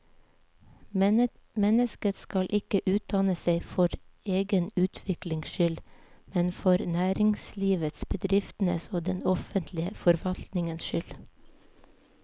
Mennesket skal ikke utdanne seg for egen utviklings skyld, men for næringslivets, bedriftenes og den offentlige forvaltningens skyld.